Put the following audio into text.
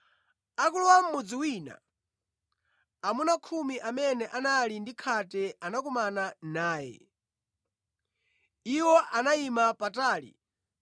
Akulowa mʼmudzi wina, amuna khumi amene anali ndi khate anakumana naye. Iwo anayima patali